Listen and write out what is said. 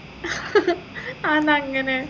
അതെന്താ അങ്ങനെ